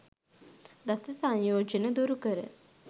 දස සංයෝජන දුරු කර